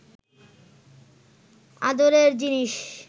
আদরের জিনিষ